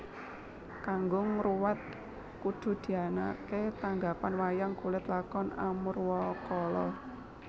Kanggo ngruwat kudu dianaké tanggapan wayang kulit Lakon Amurwakala